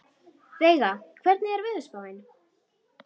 Veiga, hvernig er veðurspáin?